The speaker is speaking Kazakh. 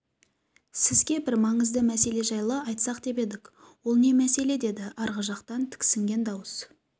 сізге бір маңызды мәселе жайлы айтсақ деп едік ол не мәселе деді арғы жақтан тіксінген дауыс